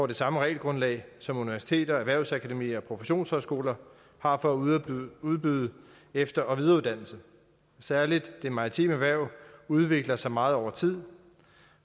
det samme regelgrundlag som universiteter erhvervsakademier og professionshøjskoler har for at udbyde udbyde efter og videreuddannelse særlig det maritime erhverv udvikler sig meget over tid